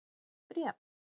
Bréf?